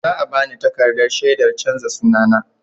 Za a ba ni takardar shaidar canza sunana.